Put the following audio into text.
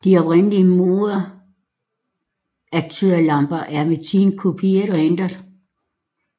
De oprindelige moderatørlamper er med tiden kopieret og ændret